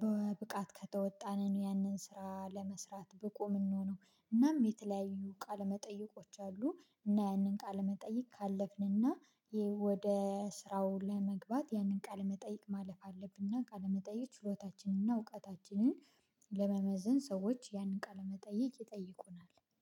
በብቃት ከተወጣን ያንን ስራ ለመስራት ብቁ የምንሆነው። እናም የተለያዩ ቃል መጠየቆች አሉ። እና ያንን ቃል መጠይቅ ካለፍንና ወደ ስራው ለመግባት ያንን ቃል መጠይቅ ማለፍ አለብንና። ቃለመጠይቅ ሽሎታችንንና እውቀታችንን ለመመዘን ሰዎች ያንን ቃለመጠይቅ ይጠይቁናል